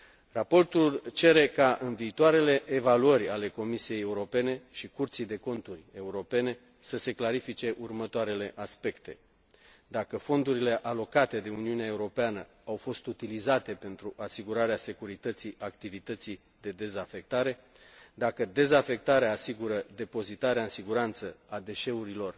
Raportul cere ca în viitoarele evaluări ale Comisiei Europene și Curții de Conturi Europene să se clarifice următoarele aspecte dacă fondurile alocate de Uniunea Europeană au fost utilizate pentru asigurarea securității activității de dezafectare, dacă dezafectarea asigură depozitarea în siguranță a deșeurilor